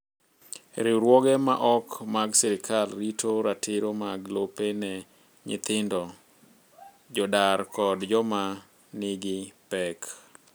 Riwruoge ma ok mag sirkal rito ratiro mag lope ne nyithindo, jodar kod joma nigi pek.